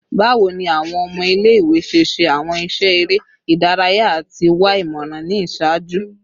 Bawo ni awọn ọmọ ile-iwe ṣe ṣe awọn iṣẹ ere idaraya ati wa imọran ni iṣaaju?